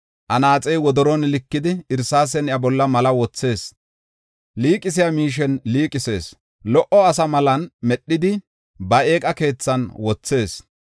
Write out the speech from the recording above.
Anaaxey wodoron likidi irsaasen iya bolla malla wothees; liiqisiya miishen liiqisees. Lo77o asa malan medhidi ba eeqa keethan wothees.